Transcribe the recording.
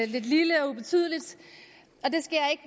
lidt lille og ubetydeligt